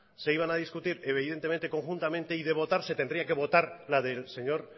se iban a discutir evidentemente conjuntamente y de votar se tendría que votar la del señor